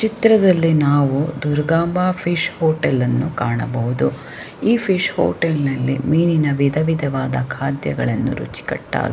ಚಿತ್ರದಲ್ಲಿ ನಾವು ದುರ್ಗಂಬಾ ಫಿಶ್ ಹೋಟೆಲನ್ನು ಕಾಣಬಹುದು ಈ ಫಿಶ್ ಹೋಟೆಲ್ನಲ್ಲಿ ಮೀನಿನ ವಿಧವಿಧವಾದ ಖಾದ್ಯಗಳನ್ನು ರುಚಿಕಟ್ಟಾಗಿ--